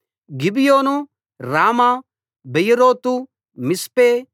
Gibeon Ramah Beeroth Mizpeh